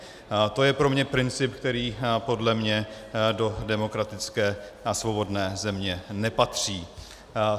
To je pro mě princip, který podle mne do demokratické a svobodné země nepatří.